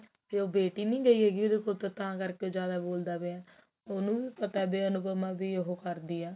ਤੇ ਉਹ ਬੇਟੀ ਨੀ ਹੈਗੀ ਉਹਦੇ ਕੋਲ ਤਾਂ ਕਰਕੇ ਉਹ ਜਿਆਦਾ ਬੋਲਦਾ ਪਿਆ ਉਹਨੂੰ ਵੀ ਪਤਾ ਵੀ ਅਨੁਪਮਾ ਵੀ ਉਹ ਕਰਦੀ ਆ